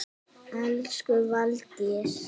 Elsku Valdís.